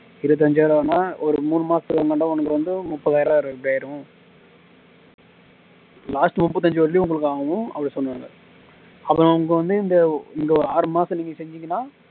இருபத்தஞ்சாயிரம் ரூபாய்ன்னா ஒரு மூணு மாசத்துக்கு முன்னாடி உனக்கு வந்து முப்பதாயிரம் ரூபாய் ஆயிடும் last முப்பத்தஞ்சு வரையும் உங்களுக்காகவும் அப்படி சொன்னாங்க அப்புறம் அவங்க வந்து இந்த இந்த ஆறு மாசம் நீங்க செஞ்சீங்கன்னா